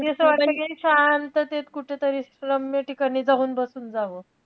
कधी असं वाटतं कि शांततेत कुठेतरी शांत रम्य ठिकाणी जाऊन बसून जावं.